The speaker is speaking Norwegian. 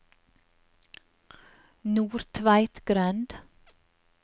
Nordtveitgrend